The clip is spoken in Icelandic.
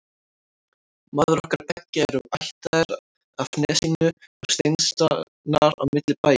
Mæður okkar beggja eru ættaðar af Nesinu og steinsnar á milli bæja.